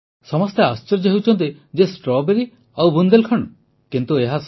ସମସ୍ତେ ଆଶ୍ଚର୍ଯ୍ୟ ହେଉଛନ୍ତି ଯେ ଷ୍ଟ୍ରବେରୀ ଆଉ ବୁନ୍ଦେଲ୍ଖଣ୍ଡ କିନ୍ତୁ ଏହା ସତ